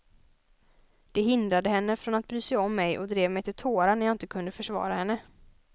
Det hindrade henne från att bry sig om mig och drev mig till tårar när jag inte kunde försvara henne.